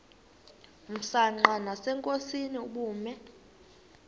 msanqa nasenkosini ubume